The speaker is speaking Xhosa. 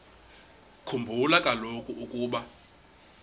khumbula kaloku ukuba